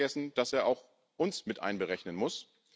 Er darf nicht vergessen, dass er auch uns mit einberechnen muss.